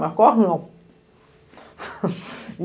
Mas corre não.